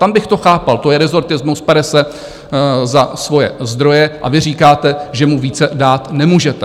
Tam bych to chápal, to je rezortismus, pere se za svoje zdroje, a vy říkáte, že mu více dát nemůžete.